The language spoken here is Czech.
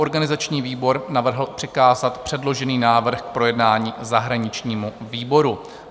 Organizační výbor navrhl přikázat předložený návrh k projednání zahraničnímu výboru.